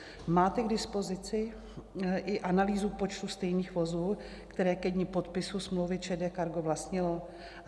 Máte k dispozici i analýzu počtu stejných vozů, které ke dni podpisu smlouvy ČD Cargo vlastnilo?